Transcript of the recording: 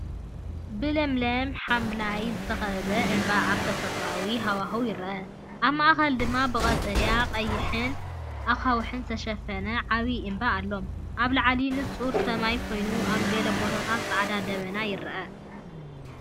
ብለምለም ሓምላይ ዝተኸበበ እምባ ኣብ ተፈጥሮኣዊ ሃዋህው ይርአ። ኣብ ማእከል ድማ ብቀጠልያን ቀይሕን ኣኻውሕ ዝተሸፈነ ዓቢ እምባ ኣሎ። ኣብ ላዕሊ ንጹር ሰማይ ኮይኑ፡ ኣብ ገለ ቦታታት ጻዕዳ ደበናታት ይርአ።